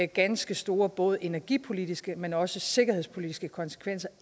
ganske store både energipolitiske men også sikkerhedspolitiske konsekvenser